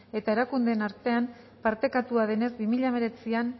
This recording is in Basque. eta erakundeen artean partekatua denez bi mila hemeretzian